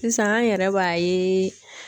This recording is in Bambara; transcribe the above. Sisan an yɛrɛ b'a ye.